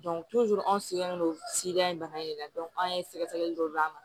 anw sigilen don in bana in de la an ye sɛgɛ sɛgɛli dɔ d'a ma